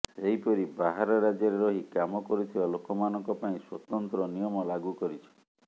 ସେହିପରି ବାହାର ରାଜ୍ୟରେ ରହି କାମ କରୁଥିବା ଲୋକମାନଙ୍କ ପାଇଁ ସ୍ୱତନ୍ତ୍ର ନିୟମ ଲାଗୁ କରିଛି